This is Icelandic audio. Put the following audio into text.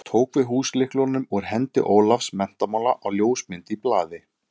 Tók við húslyklunum úr hendi Ólafs menntamála á ljósmynd í blaði.